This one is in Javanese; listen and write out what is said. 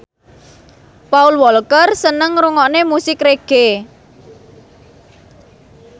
Paul Walker seneng ngrungokne musik reggae